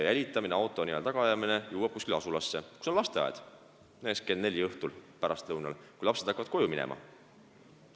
Jälitamine, auto n-ö tagaajamine jõuab asulasse, kus on lasteaed, ja on näiteks kell neli pärastlõunal, kui lapsed hakkavad koju minema.